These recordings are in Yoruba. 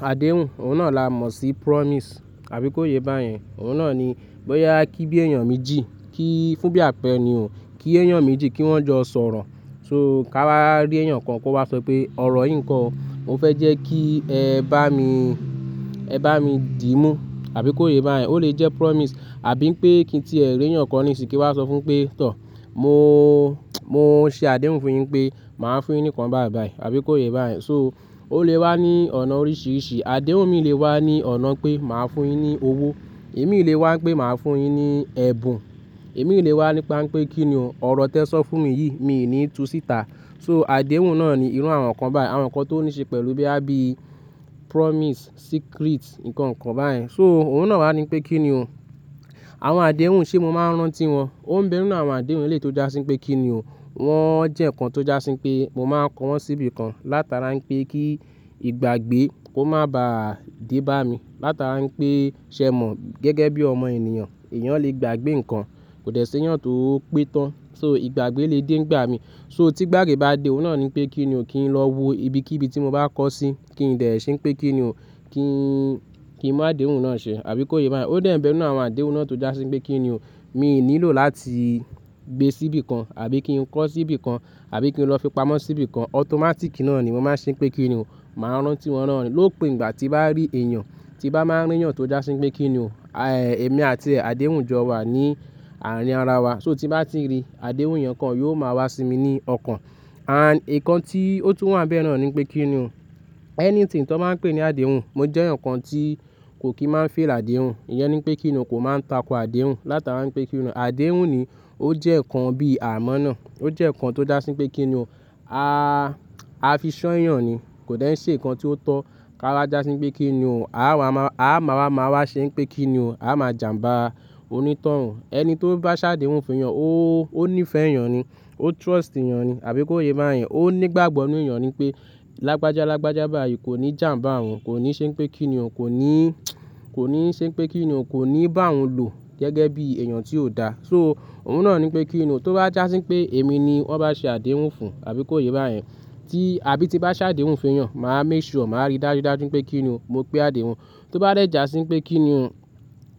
Àdéhùn, òun náà la mọ̀ sí promise, àbí kó yé bá yẹn. Òun náà ni bóyá kí bí èèyàn méjì, kí fún bí àpẹ̀ ènìyàn, kí èèyàn méjì kí wọ́n jọ sọ̀rọ̀. Òun náà ni bóyá kí bí èèyàn méjì, kí fún bí àpẹ̀ ènìyàn, kí èèyàn méjì kí wọ́n jọ sọ̀rọ̀. Ó lè jẹ́ promise, àbí pé kí tí ẹ̀ mú èèyàn kan ní ìsìnkú wá sọ fún pé, tọ̀ mo, mo ṣe àdéhùn fún yín pé màá fún yín ní kan báìbàì, àbí kó yé bá yẹn. So ó lè wá ní ọ̀nà oríṣiríṣi. Àdéhùn mi lè wá ní ọ̀nà pé màá fún yín ní owó. Ẹ̀mí lè wá pé màá fún yín ní ẹ̀bùn. Ẹ̀mí lè wá nípa pé kíni ọ̀rọ̀ tẹ sọ fún mi yìí, mi ò ní tú síta. So àdéhùn náà ni irú àwọn nǹkan báì, àwọn nǹkan tó ní ṣe pẹ̀lú bí àbí promise, secret nǹkan kan bá yẹn. So òun náà wá ní pé kíni o. Àwọn àdéhùn ṣe mo máa ń rántí wọn? Ó ń bẹ inú àwọn àdéhùn elétò já sí pé kíni o. Wọ́n jẹ́ nǹkan tó já sí pé mo máa kọ wọ́n síbi kan látara ń pẹ́ kí ìgbàgbé kó má bá dì bá mi, látara ń pẹ́ ṣẹ mọ̀ gẹ́gẹ́ bí ọmọ ènìyàn. Èèyàn lè gbàgbé nǹkan, kò dẹ́ṣé èèyàn tó pẹ́ tán. So ìgbàgbé lè dé gbà mi. So tí gbàgbé bá dé, òun náà ni pé kíni o kí n lọ wo ibi kí ibi tí mo bá kọ sí, kí n dẹ̀ ṣé ń pẹ́ kíni o, kí n, kí n mú àdéhùn náà ṣẹ, àbí kó yé bá yẹn. Ó dà ń bẹ inú àwọn àdéhùn náà tó já sí pé kíni o. Mi ò nílò láti gbé síbi kan, àbí kí n kọ́ síbi kan, àbí kí n lọ fi pamọ́ síbi kan. Automatic náà ni mo máa ń ṣe pé kíni o. Màá rántí wọn rántí lópin ìgbà tí màá rí èèyàn tí bá máa rí èèyàn tó já sí pé kíni o. Àì èmi àti àdéhùn jọ wà ní àárín ara wa. So tí bá ti rí àdéhùn èèyàn kan yóò máa wá sí mi ní ọkàn. Àn nǹkan tí ó tún wà bẹ inú náà ni pé kíni o. Anything tó máa ń pè ní àdéhùn, mo jẹ́ nǹkan tí kò kí máa ń fail àdéhùn. Iyẹn ni pé kíni o kò máa ń tako àdéhùn látara ń pẹ́ kíni o. Àdéhùn ni ó jẹ́ nǹkan bí àmọ́ náà. Ó jẹ́ nǹkan tó já sí pé kíni o. A, a fi ṣọ́ èèyàn ni, kò dẹ́ ń ṣe nǹkan tí ó tọ́. Ká wá já sí pé kíni o. A máa, a máa wá máa wá ṣe pé kíni o. A máa jàmbá onítán. Ẹni tó bá ṣàdéhùn fún èèyàn ó, ó ní ìfẹ́ èèyàn ni. Ó trust èèyàn ni, àbí kó yé bá yẹn. Ó nígbàgbọ́ inú èèyàn ni pé lágbájá lágbájá bá yẹn kò ní jàmbá òun. Kò ní ṣe pé kíni o, kò ní, kò ní ṣe pé kíni o, kò ní bá òun lò gẹ́gẹ́ bí èèyàn tí ó da. So òun náà ni pé kíni o tó bá já sí pé èmi ni wọ́n bá ṣe àdéhùn fún, àbí kó yé bá yẹn. Tí àbí tí bá ṣàdéhùn fún èèyàn, màá make sure màá rí dájúdájú pé kíni o. Mo pé àdéhùn. Tó bá rẹ́ jà sí pé kíni o,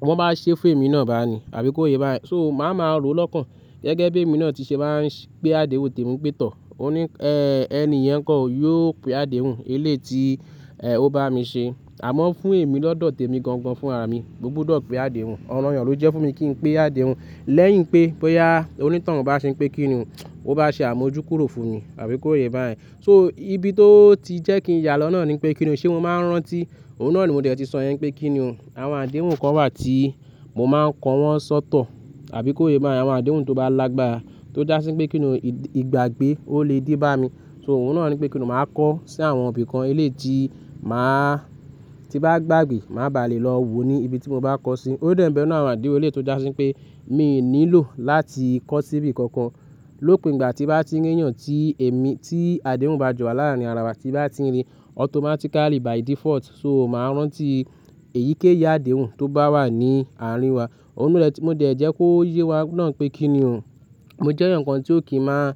wọ́n bá ṣe fail mi náà bá ni, àbí kó yé bá yẹn. So màá ma rò ó lọ́kàn gẹ́gẹ́ bí èmi náà ti ṣe máa ń ṣe pé àdéhùn tó mú pé tọ̀. Ó ní ẹ́ ẹni ìyẹn kan ò yóò pé àdéhùn eléti è ó bá mi ṣe. Àmọ́ fún èmi lọ́dọ̀ tèmi gan gan fún àmi. Mo gbọdọ̀ pé àdéhùn. Ọ̀rọ̀ èèyàn ló jẹ́ fún mi kí n pé àdéhùn. Lẹ́yìn pé bóyá onítán bá ṣe pé kíni o, ó bá ṣe àmójúkúrò fún mi, àbí kó yé bá yẹn. So ibi tó ti jẹ́ kí n yálọ́ náà ni pé kíni o. Ṣé mo máa ń rántí? Òun náà ni mo dẹ̀ tí sọ yẹn pé kíni o. Àwọn àdéhùn kan wà tí mo máa ń kọ wọ́n sọ́tọ̀, àbí kó yé bá yẹn. Àwọn àdéhùn tó bá lagbára, tó já sí pé kíni o ìgbàgbé ó lè dí bá mi. So òun náà ni pé kíni o màá kọ́ sí àwọn ibi kan eléti màá tí bá gbàgbé, màá bá lè lọ wo ní ibi tí mo bá kọ sí. Ó dà ń bẹ inú àwọn àdéhùn elétò já sí pé mi ò nílò láti kọ́ síbi kankan. Lópin ìgbà tí bá ti rí èèyàn tí èmi, tí àdéhùn bá jọ wà láàárín ara wa, tí bá ti rí, automatically by default. So màá rántí èyíkéyìí àdéhùn tó bá wà ní àárín wa. Òun náà ti mó dẹ̀ jẹ́ kó yé wa náà pé kíni o. Mo jẹ́ nǹkan tí ò kí máa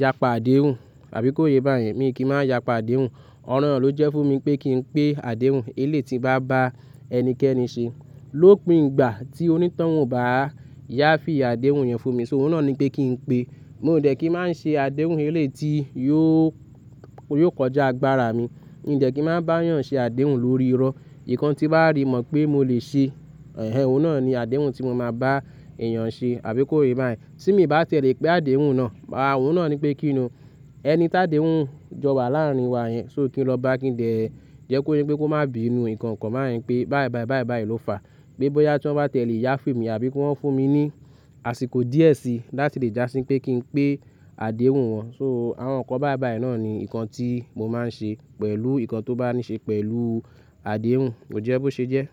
yapa àdéhùn, àbí kó yé bá yẹn. Mi ò kí máa yapa àdéhùn. Ọ̀rọ̀ èèyàn ló jẹ́ fún mi pé kí n pé àdéhùn eléti bá bá ẹnikẹ́ni ṣe. Lópin ìgbà tí onítán ò bá yá fí àdéhùn yẹn fún mi. So òun náà ni pé kí n pe. Mo ò dẹ̀ kí máa ń ṣe àdéhùn eléti yóò, yóò kọjá agbára mi. Mi ò dẹ̀ kí máa bá èèyàn ṣe àdéhùn lórí irọ́. Ìyẹn kan tí bá rí mọ̀ pé mo lè ṣe, ẹhen òun náà ni àdéhùn tí mo máa bá èèyàn ṣe, àbí kó yé bá yẹn. Tí mi bá tẹ́lẹ̀ pé àdéhùn náà, àà òun náà ni pé kíni o. Ẹni tádéhùn jọ wà láàárín wa yẹn. So kí n lọ bá kí n dẹ̀ jẹ́ kó yé pé kó má bí inú nǹkan kan bá yẹn pé báí báí báí báí ló fà. Pé bóyá tí wọ́n bá tẹ́lẹ̀ yá fail mi àbí kí wọ́n fún mi ní àsìkò díẹ̀ sí láti lè já sí pé kí n pé àdéhùn wọn. So àwọn nǹkan báí báí náà ni nǹkan tí mo máa ń ṣe pẹ̀lú nǹkan tó bá ní ṣe pẹ̀lú àdéhùn. Ó jẹ́ bó ṣe jẹ́.